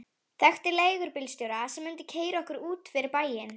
Þekkti leigubílstjóra sem mundi keyra okkur út fyrir bæinn.